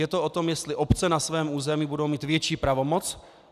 Je to o tom, jestli obce na svém území budou mít větší pravomoc.